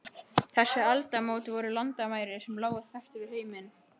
Þessi aldamót voru landamæri sem lágu þvert yfir heiminn.